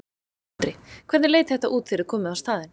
Andri: Hvernig leit þetta út þegar þið komuð á staðinn?